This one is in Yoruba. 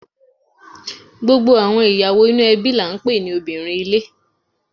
Gbogbo àwọn ìyàwó inú ẹbí ńlá ni à ń pè ní obìnrin ilé